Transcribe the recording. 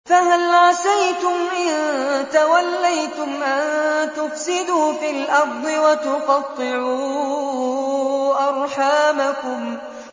فَهَلْ عَسَيْتُمْ إِن تَوَلَّيْتُمْ أَن تُفْسِدُوا فِي الْأَرْضِ وَتُقَطِّعُوا أَرْحَامَكُمْ